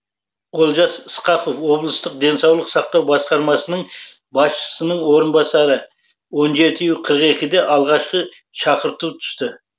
олжас ысқақов облыстық денсаулық сақтау басқармасының басшысының орынбасары он жеті қырық екіде алғашқы шақырту түсті